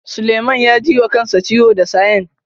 Suleiman ya ji wa kansa ciwo da sayen.